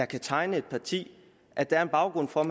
kan tegne et parti at der er en baggrund for at